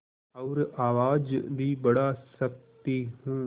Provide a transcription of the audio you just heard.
और आवाज़ भी बढ़ा सकती हूँ